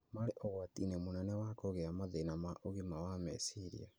marĩ ũgwati-inĩ mũnene wa kũgĩa na mathĩna ma ũgima wa meciria.